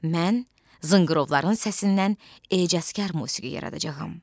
Mən zınqırovların səsindən ecazkar musiqi yaradacağam.